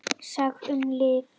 SAGT UM LIV